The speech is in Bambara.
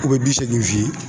u bɛ bi seegin f'i ye